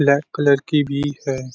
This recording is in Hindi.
ब्लैक कलर की बिक है।